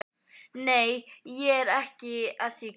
Nei, ég er ekki að því kannski.